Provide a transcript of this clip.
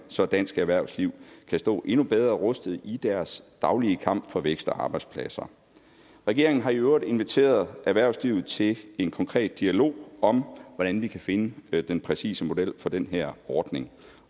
så dansk erhvervsliv kan stå endnu bedre rustet i deres daglige kamp for vækst og arbejdspladser regeringen har i øvrigt inviteret erhvervslivet til en konkret dialog om hvordan vi kan finde den den præcise model for den her ordning